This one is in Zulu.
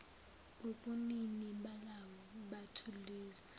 ubunini balawo mathuluzi